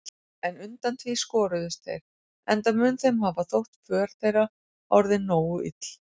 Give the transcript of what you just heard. En undan því skoruðust þeir, enda mun þeim hafa þótt för þeirra orðin nógu ill.